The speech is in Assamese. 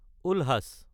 উলহাছ